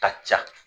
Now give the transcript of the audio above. Ka ca